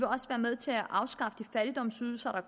også være med til at afskaffe de fattigdomsydelser